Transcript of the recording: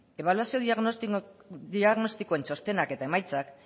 ebaluazio diagnostikoen txostenak eta emaitzak